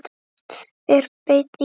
Er beinn í baki.